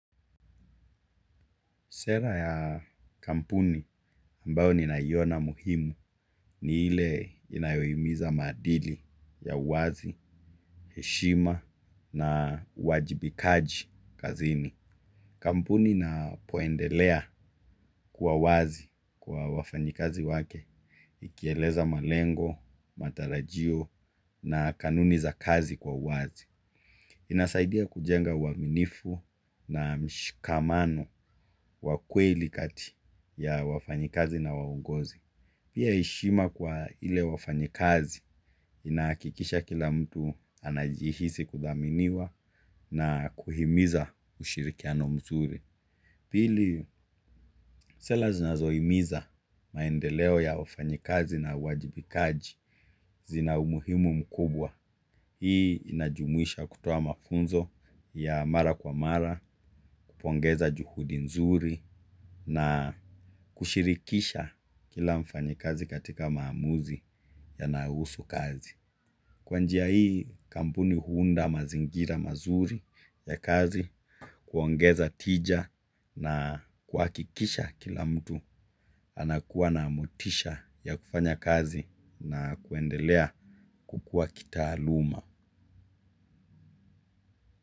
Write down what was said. Sera ya kampuni ambayo ninaiona muhimu ni ile inayohimiza maadili ya uwazi, heshima na uwajibikaji kazini. Kampuni napoendelea kuwa wazi kwa wafanyikazi wake, ikieleza malengo, matarajio na kanuni za kazi kwa uwazi. Inasaidia kujenga uaminifu na mshikamano wa kweli kati ya wafanyikazi na waongozi. Pia heshima kwa ile wafanyikazi inahakikisha kila mtu anajihisi kuthaminiwa na kuhimiza ushirikiano mzuri. Pili, sera zinazohimiza maendeleo ya wafanyikazi na uwajibikaji zina umuhimu mkubwa. Hii inajumuisha kutoa mafunzo ya mara kwa mara, kupongeza juhudi nzuri na kushirikisha kila mfanyikazi katika maamuzi yanahusu kazi. Kwa njia hii kampuni huunda mazingira mazuri ya kazi, kuongeza tija na kuhakikisha kila mtu anakuwa na motisha ya kufanya kazi na kuendelea kukuwa kitaaluma.